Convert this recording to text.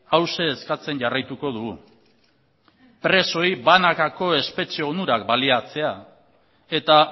hauxe eskatzen jarraituko dugu presoei banakako espetxe onurak baliatzea eta